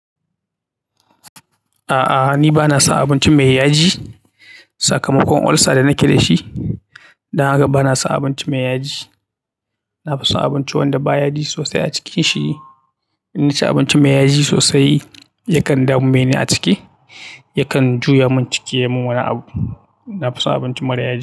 A'a, ni ba na son abinci mai yaji. Sakamakon ulcer da nake dashi don haka banason abinci mai yaji nafi son abinci wanda ba yaji sosai a cikin shi in naci abinci mai yaji sosai, yakan dame ni a ciki, yakan juya min ciki. Na fi son abinci mara yaji.